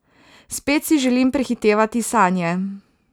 Spet si želim prehitevati sanje.